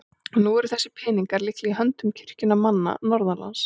Og nú eru þessir peningar líklega í höndum kirkjunnar manna norðanlands?